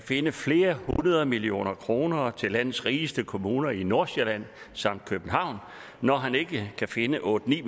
finde flere hundrede millioner kroner til landets rigeste kommuner i nordsjælland samt københavn når han ikke kan finde otte ni